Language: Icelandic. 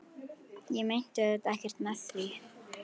Ég meinti auðvitað ekkert með því.